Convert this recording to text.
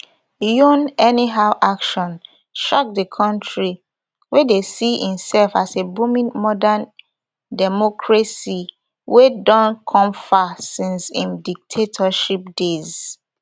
yoon anyhow action shock di country wey dey see imself as a booming modern democracy wey don come far since im dictatorship days